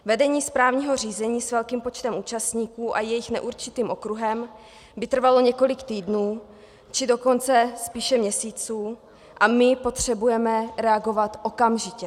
Vedení správního řízení s velkým počtem účastníků a jejich neurčitým okruhem by trvalo několik týdnů, či dokonce spíše měsíců, a my potřebujeme reagovat okamžitě.